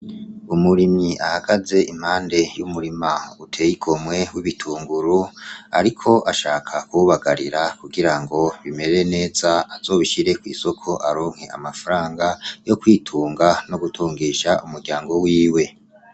Umurimyi ahagaze impande y' umurima uteye igomwe w' ibitunguru ariko ashaka kuwubagarira kugira ngo bimere neza azobishire kw' isoko aronke amafaranga yo kwitunga no gutungisha umuryango wiwe.